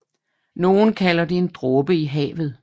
Nogen kalder det en dråbe i havet